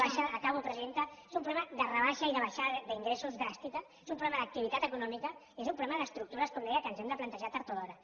baixada acabo presidenta és un problema de rebaixa i de baixada d’ingressos dràstica és un problema d’activitat econòmica i és un problema d’estructures com deia que ens hem de plantejar tard o d’hora